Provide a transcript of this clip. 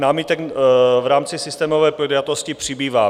Námitek v rámci systémové podjatosti přibývá.